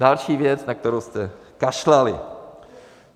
Další věc, na kterou jste kašlali!